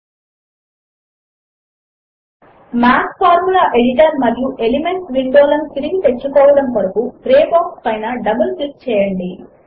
000417 000416 math formula editor మరియు elements window లను తిరిగి తెచ్చుకోవడము కొరకు గ్రే బాక్స్ పైన డబుల్ క్లిక్ చేయండి